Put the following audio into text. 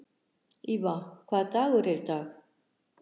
Íva, hvaða dagur er í dag?